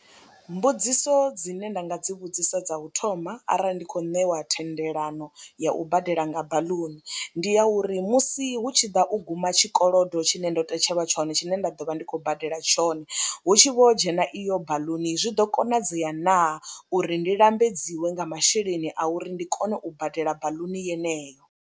Mbudziso dzine nda nga dzi vhudzisa dza u thoma arali ndi khou ṋewa thendelano ya u badela nga baḽuni ndi ya uri musi hu tshi ḓa u guma tshikolodo tshine ndo tetshelwa tshone tshine nda ḓo vha ndi khou badela tshone hu tshi vho dzhena iyo baḽuni zwi ḓo konadzea naa uri ndi lambedziwe nga masheleni a uri ndi kone u badela baḽuni yeneyo.